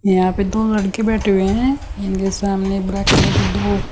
यहां पे दो लड़के बैठे हुए हैं इनके सामने ब्लैक कलर के दो --